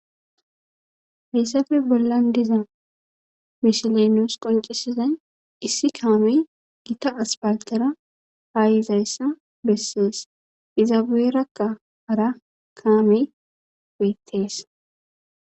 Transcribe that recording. Hessafe bollan diza mishilenos qoncisizay issi kaamey gita aspaltera haayiizayssa bessees izabuerakka hara kaame beettees.